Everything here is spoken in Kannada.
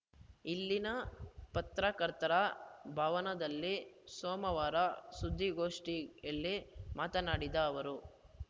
ಇಲ್ಲಿನ ಪತ್ರಕರ್ತರ ಭವನದಲ್ಲಿ ಸೋಮವಾರ ಸುದ್ದಿಗೋಷ್ಠಿಯಲ್ಲಿ ಮಾತನಾಡಿದ ಅವರು